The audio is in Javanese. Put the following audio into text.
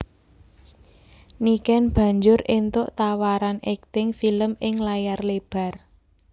Niken banjur éntuk tawaran akting film ing layar lebar